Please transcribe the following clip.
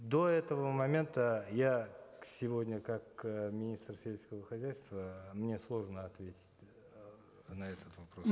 до этого момента я сегодня как э министр сельского хозяйства мне сложно ответить э на этот вопрос